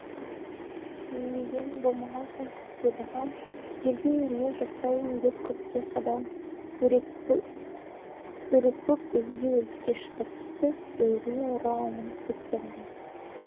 мен деген болмаған соң көпке бағам жерде емес жасайын деп көкке қадам іөрекпіп өзге өріске шығып кетіп өзіне орала алмай кеткен адам